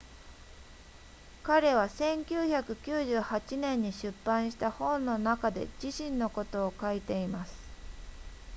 彼は1998年に出版した本の中で自身のことを書いています